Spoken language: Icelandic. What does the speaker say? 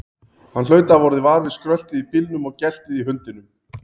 Hann hlaut að hafa orðið var við skröltið í bílnum og geltið í hundinum.